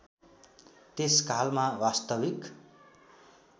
त्यस कालमा वास्तविक